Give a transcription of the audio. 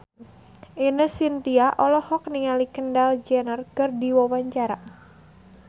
Ine Shintya olohok ningali Kendall Jenner keur diwawancara